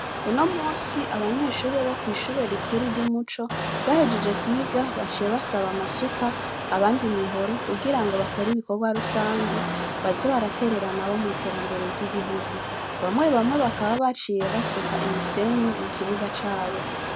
Unomunsi abanyeshure bo kw' ishure rikuru ry'umuco bahejeje kwiga baciye basaba amasuka abandi imihoro kugira bakore ibikorwa rusangi baze baraterera nabo mubikogwa vy'igihugu bamwe baciye basuka imisenyi mukibuga cabo